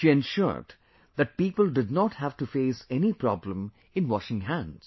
She ensured that people did not have to face any problem in washing hands